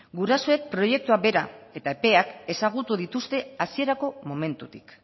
gurasoek proiektua bera eta epeak ezagutu dituzte hasierako momentutik